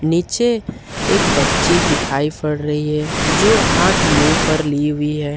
नीचे एक बच्ची दिखाई पड़ रही है जो हाथ मुंह पर ली हुई है।